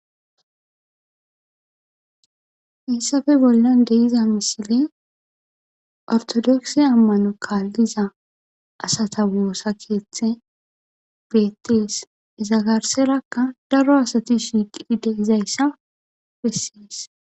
issafe bollan de iza misile ortodoksi ammano kaalliza asata woossa keeththe beettees izagarserakka daro asati shiiqidide izayssa bessees